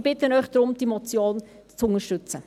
Ich bitte Sie, diese Motion zu unterstützen.